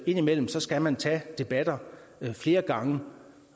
indimellem skal man tage en debat flere gange